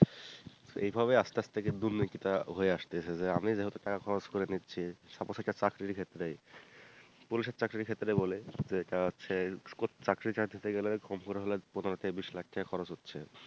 এইভাবে আস্তে আস্তে গিয়ে দুর্নীতি টা হয়ে আসতেছে যে আমি যেহেতু টাকা খরচ করে নিচ্ছি suppose একটা চাকরির ক্ষেত্রেই police এর চাকরির ক্ষেত্রে বলি যেটা হচ্ছে চাকরি টা পেতে গেলে কম করে হলে পনেরো থেকে বিষ লাখ ঢাকা খরচ হচ্ছে,